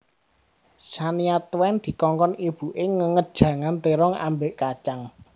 Shania Twain dikongkon ibu e ngenget jangan terong ambek kacang